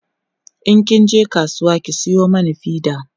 in kin je kasuwa ki Sayo mana fida